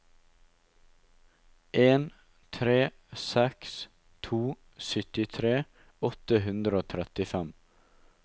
en tre seks to syttitre åtte hundre og trettifem